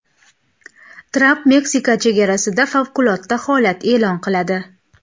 Tramp Meksika chegarasida favqulodda holat e’lon qiladi.